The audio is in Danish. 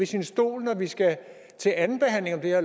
sin stol når vi skal til andenbehandling af